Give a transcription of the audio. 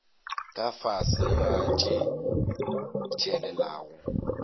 ka fase ga tše tshelelago